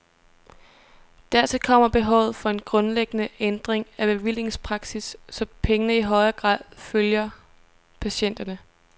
Dertil kommer behovet for en grundlæggende ændring af bevillingspraksis, så pengene i højere grad følger patienterne.